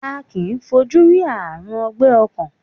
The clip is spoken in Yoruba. A kìí fojú rí Ààrùn ọgbẹ́ ọkàn.